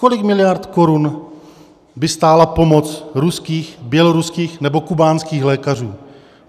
Kolik miliard korun by stála pomoc ruských, běloruských nebo kubánských lékařů?